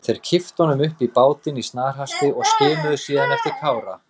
Þeir kipptu honum upp í bátinn í snarhasti og skimuðu síðan eftir Kára.